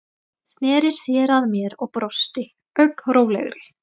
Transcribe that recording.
Sneri sér að mér og brosti, ögn rólegri.